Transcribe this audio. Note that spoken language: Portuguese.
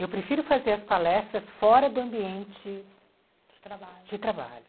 Eu prefiro fazer as palestras fora do ambiente de trabalho de trabalho.